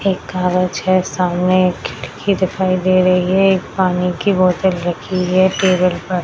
एक कागज है सामने एक खिड़की दिखाई दे रही है एक पानी की बोतल रखी है टेबल पर।